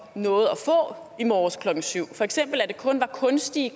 nåede at få i morges klokken syv for eksempel at det kun var kunstige